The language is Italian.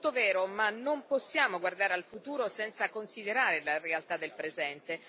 Tutto vero, ma non possiamo guardare al futuro senza considerare la realtà del presente.